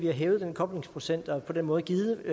har hævet koblingsprocenten og på den måde givet